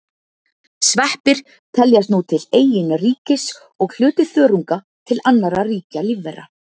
Sveppir teljast nú til eigin ríkis og hluti þörunga til annarra ríkja lífvera.